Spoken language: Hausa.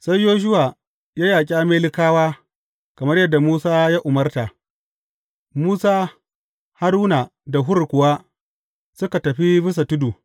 Sai Yoshuwa ya yaƙi Amalekawa kamar yadda Musa ya umarta, Musa, Haruna da Hur kuwa suka tafi bisa tudu.